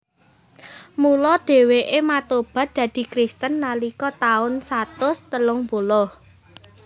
Mula dhèwèké matobat dadi Kristen nalika taun satus telung puluh